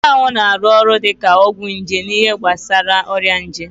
Nchanwụ na-arụ ọrụ dị ka ọgwụ nje n'ihe gbasara ọrịa nje